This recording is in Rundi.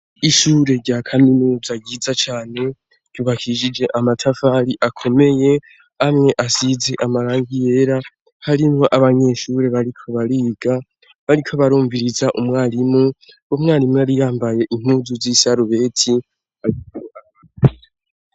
Ishure rya kaminuza ryiza cane ryubakishije amatafari akomeye amwe asize amarangi yera harimwo abanyeshure bariko bariga bariko barumviriza umwarimu, umwarimu yari yambaye impuzu z' isarubeti.